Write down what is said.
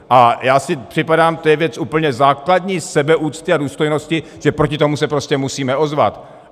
A já si připadám, to je věc úplně základní sebeúcty a důstojnosti, že proti tomu se prostě musíme ozvat.